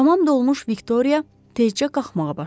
Tamam dolmuş Viktoria tezcə qalxmağa başladı.